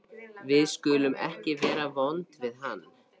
Við skulum ekki vera vond við hann.